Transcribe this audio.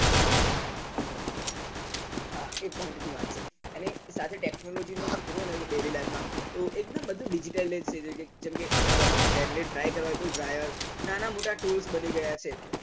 હા એ point ની વાત છે અને સાથે technology daily life માં એકદમ બધું digital hair ને dry કરવા હોય તો dryer નાના મોટા tools બની ગયા છે